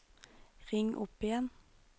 ring opp igjen